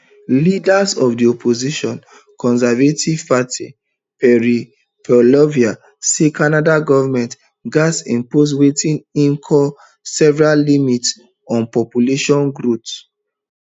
leader of di opposition conservative party pierre poilievre say canada goment gatz impose wetin im call severe limits on population growth